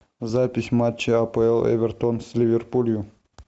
запись матча апл эвертон с ливерпулем